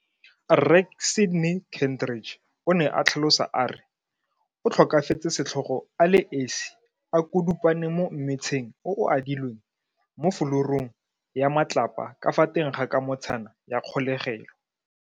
Rre Sydney Kentridge, o ne a tlhalosa a re o tlhokafetse setlhogo a le esi a kudupane mo mmetsheng o o adilweng mo fulurung ya matlapa ka fa teng ga kamotshana ya kgolegelo.